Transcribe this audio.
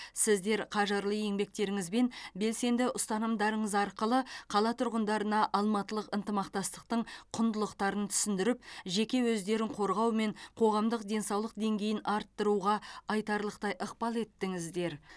сіздер қажырлы еңбектеріңіз бен белсенді ұстанымдарыңыз арқылы қала тұрғындарына алматылық ынтымақтастықтың құндылықтарын түсіндіріп жеке өздерін қорғау мен қоғамдық денсаулық деңгейін арттыруға айтарлықтай ықпал еттіңіздер